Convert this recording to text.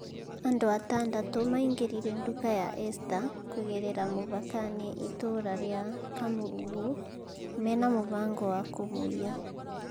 andũ atandatũ maingĩrire nduka ya ester kũgerera mũhaka-inĩ itura ria kamurugu mena mũfango wa kũmũiya